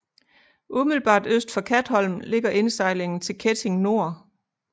Umiddelbart øst for Katholm ligger indsejlingen til Ketting Nor